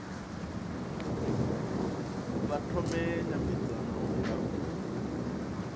vha thome nymbedzano nga u